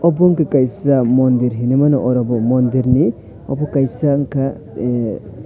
bonding kaisa mondir heneimanu orobo mondir ni omo kaisa unka ehh.